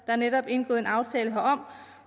er netop indgået en aftale herom